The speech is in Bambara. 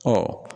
Ɔ